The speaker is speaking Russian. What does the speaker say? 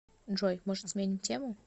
джой может сменим тему